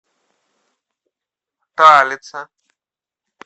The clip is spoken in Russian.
талица